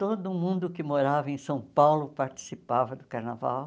Todo mundo que morava em São Paulo participava do carnaval.